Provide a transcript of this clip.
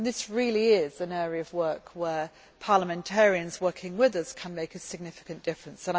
This really is an area of work where parliamentarians working with us can make a significant difference.